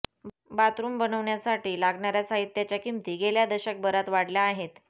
bathroom बनवण्यासाठी लागणाऱ्या साहित्याच्या किमती गेल्या दशकभरात वाढल्या आहेत